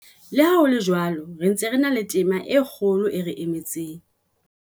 Le ha ho le jwalo, re sa ntse re na le tema e kgolo e re emetseng.